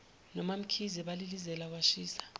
nomamkhize balilizela kwashisa